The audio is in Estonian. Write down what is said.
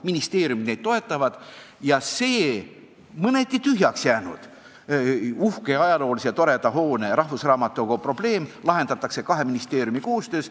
Ministeeriumid toetavad neid ja see mõneti tühjaks jäänud uhke ja ajaloolise hoone, rahvusraamatukogu hoone probleem lahendatakse kahe ministeeriumi koostöös.